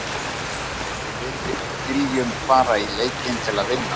En við viljum fara í leikinn til að vinna hann.